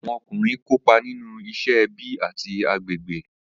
Awọn ọkunrin kopa ninu iṣẹ, ẹbi, ati agbegbe.